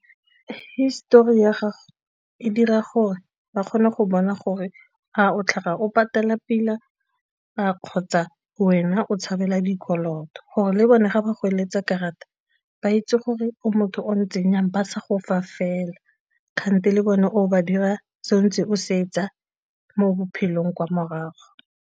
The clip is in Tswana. Histori ya gago e dira gore ba kgone go bona gore a o tlhaga o patela pila a kgotsa wena o tshabela dikoloto, gore le bone ga ba go eletsa karata ba itse gore o motho o ntseng jang ba sa gofa fela kgante le bone o ba dira se o ntse o se etsa mo bophelong kwa morago.